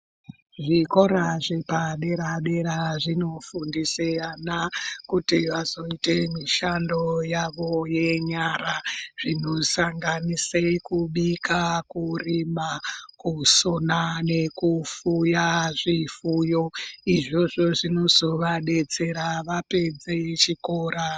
Zvikora zvepadera dera azvinofundise ana kuti azoite mishando yavo yenyara zvinosanganise kubika, kurima ,kusona nekufuya zvifuyo izvozvo zvinozovadetsera vapedze zvikora.